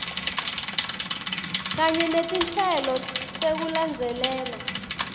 kanye netinhlelo tekulandzelela